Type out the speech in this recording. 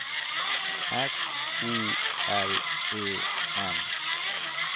S O L E N